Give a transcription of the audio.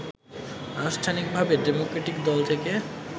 আনুষ্ঠানিকভাবে ডেমোক্রেটিক দল থেকে